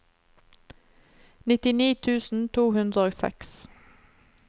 nittini tusen to hundre og seks